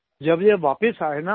जब ये वापिस आये न